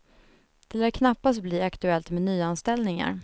Det lär knappast bli aktuellt med nyanställningar.